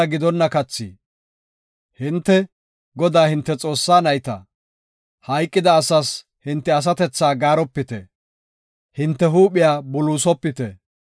Hinte, Godaa hinte Xoossaa nayta; hayqida asaas hinte asatethaa gaaropite; hinte huuphiya buluusopite.